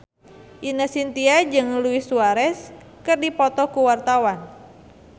Ine Shintya jeung Luis Suarez keur dipoto ku wartawan